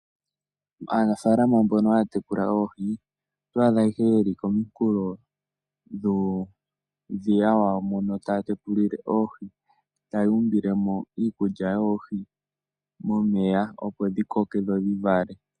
Aanafaalama mbono haya tekula oohi, oto adha ihe yeli kominkulo dhuudhiya wawo, mono taya tekulile oohi taya umbile mo iikulya yoohi momeya, opo dhi koke dho dhi vale.